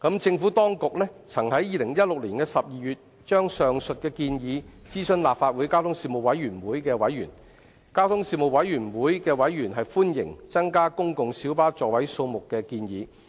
政府當局曾於2016年12月就上述建議，諮詢立法會交通事務委員會的委員，交通事務委員會的委員歡迎增加公共小巴座位數目的建議。